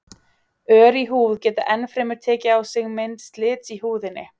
Ör í húð geta enn fremur tekið á sig mynd slits í húðinni.